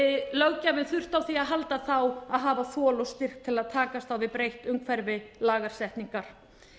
löggjafinn þurfti á því að halda þá að hafa þol og styrk til að takast á við breytt umhverfi lagasetningar